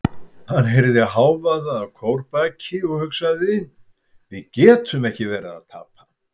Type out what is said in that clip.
Hann heyrði hávaða að kórbaki og hugsaði: við getum ekki verið að tapa.